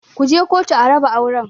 Ku je kotu a raba auren!